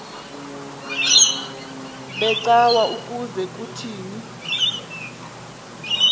becawa ukuze kuthini